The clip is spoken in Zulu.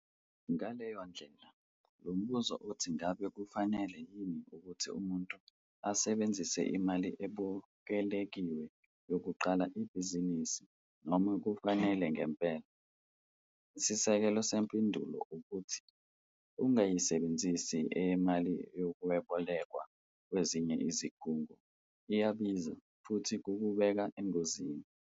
Ngaleyo ndlela, lo mbuzo othi ngabe kufanele yini ukuthi umuntu ayisebenzise imali ebokelekiwe yokuqala ibhizinisi noma cha kufanele ngempela. Isisekelo sempendulo ukuthi - ungayisebenzisi emali yokwebolekwa kwezinye ezikhungo, iyabiza futhi kukubeka engozini.